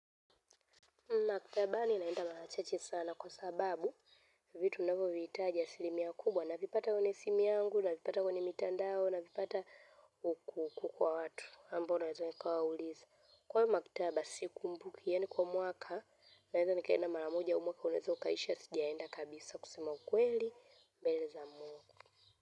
Maktabani naenda mara chache sana kwa sababu vitu navyovihitaja asilimia kubwa. Navipata kwenye simu yangu, navipata kwenye mitandao, navipata huku kwa watu. Ambao naweza nikawa uliza. Kwa maktaba, sikumbuki yaani kwa mwaka. Naweza nikaenda mara moja au mwaka unaweza ukaisha sijaenda kabisa kusema kweli. Namaliza mwaka.